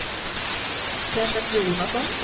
Kenneth Jonasson